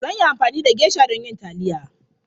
Zan yi amfani da geisha don yin taliya.